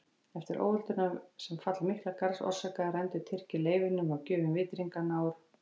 Eftir óöldina sem fall Miklagarðs orsakaði rændu Tyrkir leifunum af gjöfum vitringanna úr